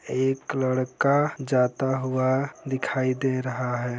एक लड़का जाता हुआ दिखाई दे रहा है।